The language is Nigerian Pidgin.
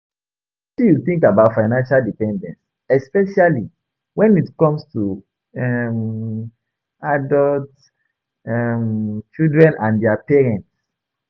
Wetin you think about financial dependence especially when it come to um adult um children and dia parents?